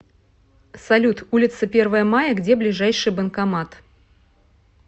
салют улица первое мая где ближайший банкомат